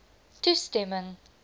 toestemming